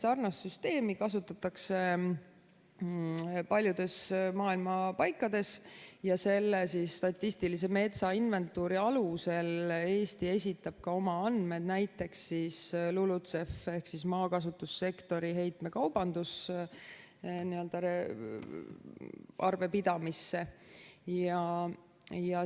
Sarnast süsteemi kasutatakse paljudes maailma paikades ja selle statistilise metsainventuuri alusel Eesti esitab ka oma andmed näiteks LULUCF‑i ehk maakasutussektori heitmekaubanduse arvepidamisse.